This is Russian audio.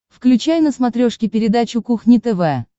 включай на смотрешке передачу кухня тв